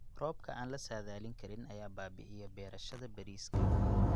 Roobabka aan la saadaalin karin ayaa baabi'iya beerashada bariiska.